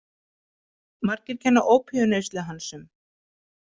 Margir kenna opíumneyslu hans um.